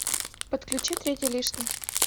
подключи третий лишний